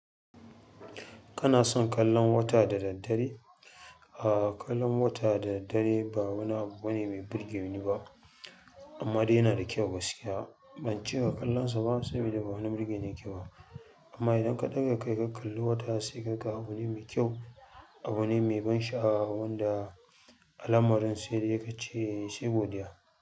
Kana son kallon wata da daddare? Aaa, kallon wata da daddare ba wani abu bane mai burge ni ba. Amma dai yana da kyau. Gaskiya ba ce wa kalla sa ba saboda ba wani burge ne kyau. Amma idan ka ɗaga kai ka kalli wata sai ka ga abu ne mai kyau, abu ne mai ban sha'awa wanda alamarin sai da ya kace sai godiya.